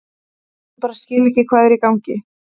Ég bara skil ekki hvað er í gangi.